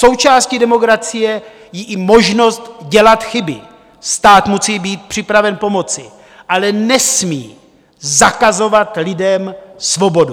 Součástí demokracie je i možnost dělat chyby - stát musí být připraven pomoci, ale nesmí zakazovat lidem svobodu.